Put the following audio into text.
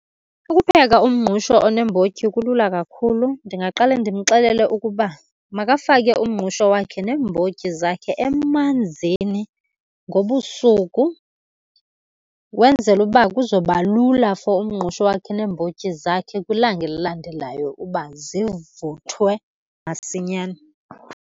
Ukupheka umngqusho oneembotyi kulula kakhulu. Ndingaqale ndimxelele ukuba makafake umngqusho wakhe neembotyi zakhe emanzini ngobusuku ukwenzela uba kuzoba lula for umngqusho wakhe neembotyi zakhe kwilanga elilandelayo uba zivuthwe masinyane.